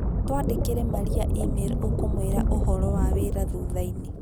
Twandĩkĩre Maria e-mail ũkũmwĩra ũhoro wa wĩra thutha-inĩ